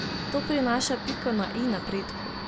To prinaša piko na i napredku.